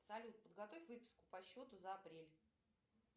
салют подготовь выписку по счету за апрель